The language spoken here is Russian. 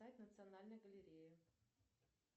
сайт национальной галереи